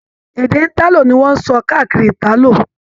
Èdè italo ní wọn n sọ káàkiri Italo.